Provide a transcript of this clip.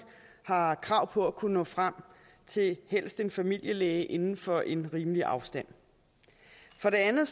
har krav på at kunne nå frem til helst en familielæge inden for en rimelig afstand for det andet